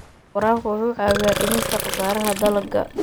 Waraabka wuxuu caawiyaa dhimista khasaaraha dalagga.